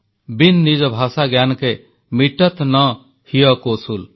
bin ନିଜ ଭାଷା ଜ୍ଞାନକେ ମିଟତ୍ ନ ହିୟ କୋ ସୂଲ୍